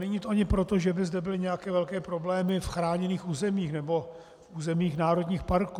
Není to ani proto, že by zde byly nějaké velké problémy v chráněných územích nebo v územích národních parků.